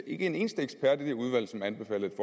ikke en eneste ekspert i det udvalg som anbefalede